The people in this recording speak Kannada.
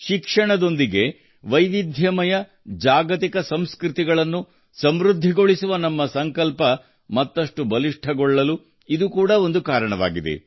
ಶಿಕ್ಷಣದೊಂದಿಗೆ ವೈವಿಧ್ಯಮಯ ಜಾಗತಿಕ ಸಂಸ್ಕೃತಿಗಳನ್ನು ಸಮೃದ್ಧಿಗೊಳಿಸುವ ನಮ್ಮ ಸಂಕಲ್ಪ ಮತ್ತಷ್ಟು ಬಲಿಷ್ಠಗೊಳ್ಳಲು ಇದು ಕೂಡಾ ಒಂದು ಕಾರಣವಾಗಿದೆ